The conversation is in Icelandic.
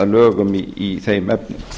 að lögum í þeim efnum